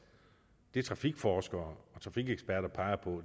det trafikforskere og trafikeksperter peger på